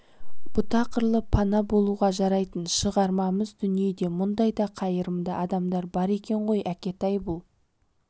бұта құрлы пана болуға жарайтын шығармыз дүниеде мұндай да қайырымды адамдар бар екен ғой әкетай бұл